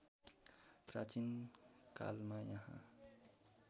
प्राचीन कालमा यहाँ